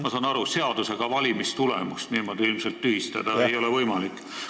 " Ma saan aru, et seadusega valimistulemust niimoodi ilmselt tühistada ei ole võimalik.